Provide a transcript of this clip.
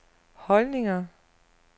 holdninger